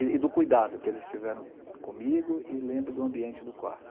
E do cuidado que eles tiveram comigo e lembro do ambiente do quarto.